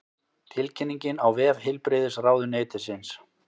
Tilkynningin á vef heilbrigðisráðuneytisins